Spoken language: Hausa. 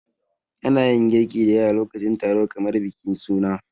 Ana yin girki da yawa lokacin taro kamar bikin suna.